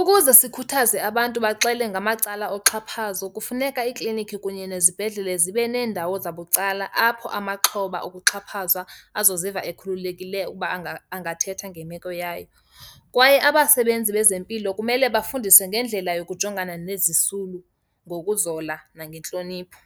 Ukuze sikhuthaze abantu baxele ngamacala oxhaphazo kufuneka iiklinikhi kunye nezibhedlele zibe neendawo zabucala apho amaxhoba okuxhaphazwa azoziva ekhululekileyo ukuba angathetha ngemeko yayo. Kwaye abasebenzi bezempilo kumele bafundiswe ngendlela yokujongana nezisulu ngokuzola nangentlonipho.